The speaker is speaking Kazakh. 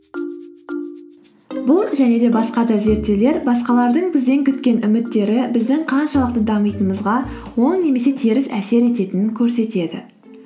бұл және де басқа да зерттеулер басқалардың бізден күткен үміттері біздің қаншалықты дамитынымызға оң немесе теріс әсер ететінін көрсетеді